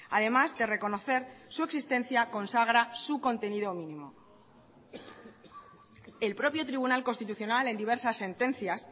además de reconocer su existencia consagra su contenido mínimo el propio tribunal constitucional en diversas sentencias